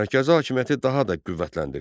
Mərkəzi hakimiyyəti daha da qüvvətləndirdi.